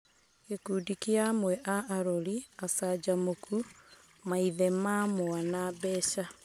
Gĩkundi kĩa amwe a arori acanjamũkũ - maithe ma mwana, mbeca ).